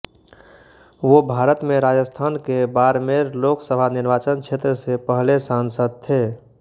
वो भारत में राजस्थान के बाड़मेर लोक सभा निर्वाचन क्षेत्र से पहले सांसद थे